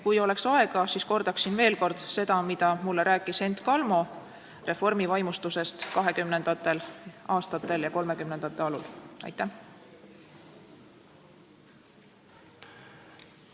Kui oleks aega, siis kordaksin veel kord seda, mida mulle rääkis Hent Kalmo reformivaimustusest 1920. aastatel ja 1930. aastate alul.